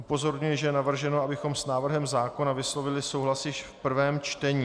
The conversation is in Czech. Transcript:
Upozorňuji, že je navrženo, abychom s návrhem zákona vyslovili souhlas již v prvém čtení.